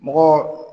Mɔgɔ